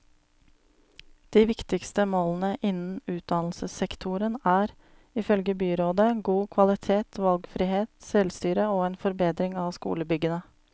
De viktigste målene innen utdannelsessektoren er, ifølge byrådet, god kvalitet, valgfrihet, selvstyre og en forbedring av skolebyggene.